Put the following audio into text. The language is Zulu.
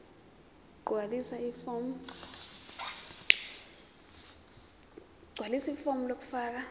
gqwalisa ifomu lokufaka